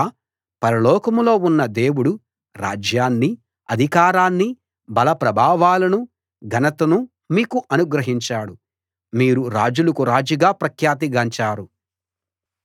రాజా పరలోకంలో ఉన్న దేవుడు రాజ్యాన్నీ అధికారాన్నీ బలప్రభావాలనూ ఘనతనూ మీకు అనుగ్రహించాడు మీరు రాజులకు రాజుగా ప్రఖ్యాతి గాంచారు